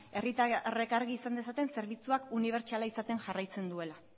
herritarrek argi izan dezaten zerbitzuak unibertsala izaten jarraitzen duela